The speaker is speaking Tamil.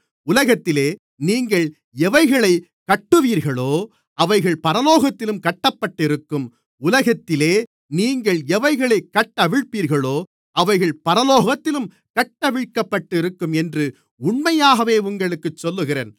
உலகத்திலே நீங்கள் எவைகளைக் கட்டுவீர்களோ அவைகள் பரலோகத்திலும் கட்டப்பட்டிருக்கும் உலகத்திலே நீங்கள் எவைகளைக் கட்டவிழ்ப்பீர்களோ அவைகள் பரலோகத்திலும் கட்டவிழ்க்கப்பட்டிருக்கும் என்று உண்மையாகவே உங்களுக்குச் சொல்லுகிறேன்